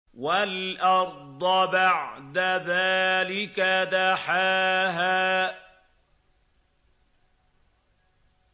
وَالْأَرْضَ بَعْدَ ذَٰلِكَ دَحَاهَا